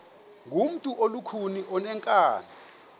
ngumntu olukhuni oneenkani